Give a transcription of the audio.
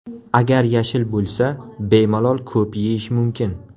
Agar yashil bo‘lsa, bemalol ko‘p yeyish mumkin.